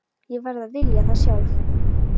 Ég verð að vilja það sjálf.